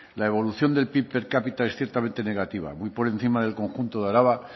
la evolución del pib per capita es ciertamente negativa muy por encima del conjunto de araba